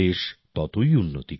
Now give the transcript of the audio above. দেশ ততই উন্নতি করবে